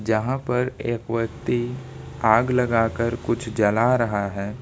यहां पर एक व्यक्ति आग लगाकर कुछ जला रहा है।